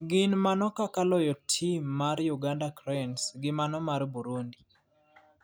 gin mago kaka loyo tim mar uganda cranes gi mano mar Burundi.